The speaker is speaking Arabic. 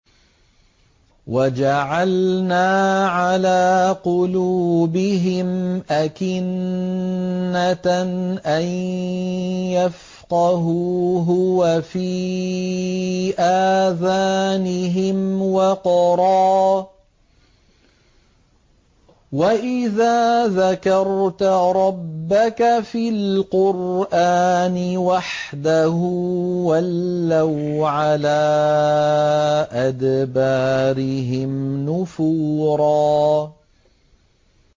وَجَعَلْنَا عَلَىٰ قُلُوبِهِمْ أَكِنَّةً أَن يَفْقَهُوهُ وَفِي آذَانِهِمْ وَقْرًا ۚ وَإِذَا ذَكَرْتَ رَبَّكَ فِي الْقُرْآنِ وَحْدَهُ وَلَّوْا عَلَىٰ أَدْبَارِهِمْ نُفُورًا